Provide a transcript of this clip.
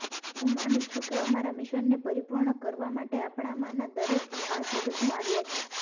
હું માનું છું કે અમારા મિશનને પરિપૂર્ણ કરવા માટે આપણામાંના દરેક આ જગતમાં આવ્યા છે